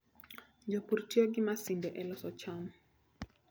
Jopur tiyo gi masinde e loso cham.